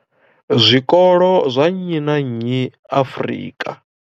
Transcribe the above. Zwikolo zwa nnyi na nnyi Afrika.